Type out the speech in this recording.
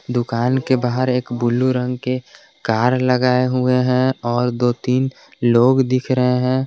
दुकान के बाहर एक ब्लू रंग के कार लगाए हुए हैं और दो तीन लोग दिख रहे हैं।